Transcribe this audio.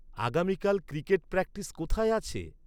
আগামীকাল cricket practice কোথায় আছে?